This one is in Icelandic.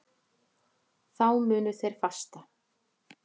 Þá munu þeir fasta.